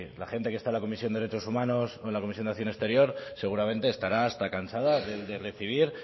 la gente que está en la comisión de derechos humanos o en la comisión de acción exterior seguramente estará hasta cansada de recibir